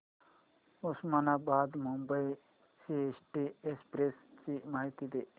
Osmanabad Mumbai CST express ची माहिती दे